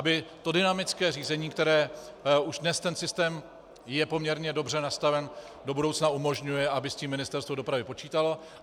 Aby to dynamické řízení, které... už dnes ten systém je poměrně dobře nastaven, do budoucna umožňuje, aby s tím Ministerstvo dopravy počítalo.